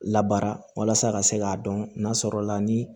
Labara ka se k'a dɔn n'a sɔrɔ la ni